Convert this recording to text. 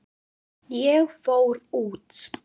Ég fór út.